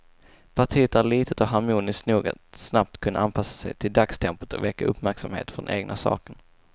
Partiet är litet och harmoniskt nog att snabbt kunna anpassa sig till dagstempot och väcka uppmärksamhet för den egna saken.